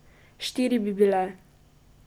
Štiri bi bile ...